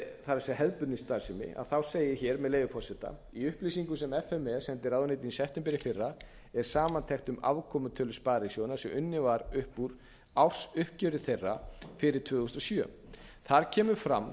það er hefðbundin starfsemi þá segir hér með leyfi forseta í upplýsingum sem f m e sendi ráðuneytinu í september í fyrra er samantekt um afkomutölur sparisjóðanna sem unnin var upp úr ársuppgjöri þeirra fyrir tvö þúsund og sjö þar kemur fram að